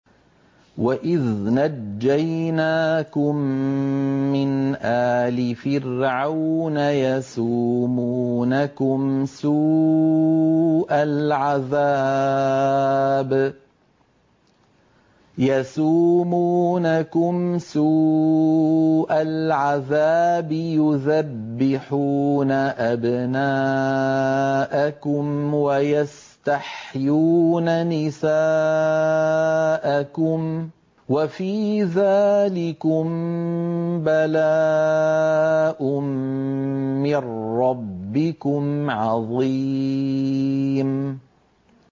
وَإِذْ نَجَّيْنَاكُم مِّنْ آلِ فِرْعَوْنَ يَسُومُونَكُمْ سُوءَ الْعَذَابِ يُذَبِّحُونَ أَبْنَاءَكُمْ وَيَسْتَحْيُونَ نِسَاءَكُمْ ۚ وَفِي ذَٰلِكُم بَلَاءٌ مِّن رَّبِّكُمْ عَظِيمٌ